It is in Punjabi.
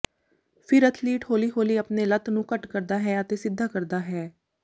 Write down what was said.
ਫਿਰ ਅਥਲੀਟ ਹੌਲੀ ਹੌਲੀ ਆਪਣੇ ਲੱਤ ਨੂੰ ਘੱਟ ਕਰਦਾ ਹੈ ਅਤੇ ਸਿੱਧਾ ਕਰਦਾ ਹੈ